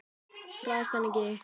Hræðist hana ekki.